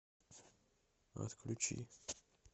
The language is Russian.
отключи